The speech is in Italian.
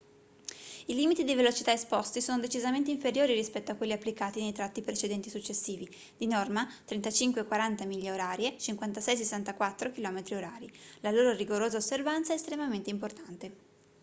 i limiti di velocità esposti sono decisamente inferiori rispetto a quelli applicati nei tratti precedenti e successivi di norma 35-40 mph / 56-64 km/h. la loro rigorosa osservanza è estremamente importante